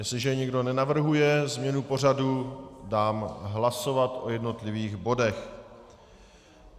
Jestliže nikdo nenavrhuje změnu pořadu, dám hlasovat o jednotlivých bodech.